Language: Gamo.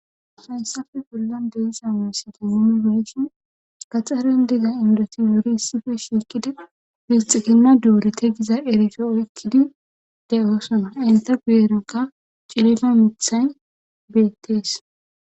hayssafe bullan deisa muusati zumibeyshin gaxxeren diga indotin yori issife shiikkida biixikinna doori te giza erife oykkidi de7oosona inta guyeroka cilifa mithayn beettees